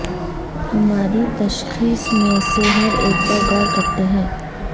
ہماری تشخیص میں سے ہر ایک پر غور کرتے ہیں